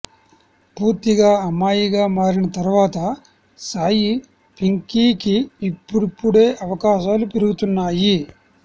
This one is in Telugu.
పూర్తిగా అమ్మాయిగా మారిన తర్వాత సాయి పింకీకి ఇప్పుడిప్పుడే అవకాశాలు పెరుగుతున్నాయి